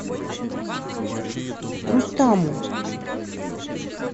рустаму